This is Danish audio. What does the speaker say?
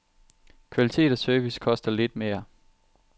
Kvalitet og service koster lidt mere.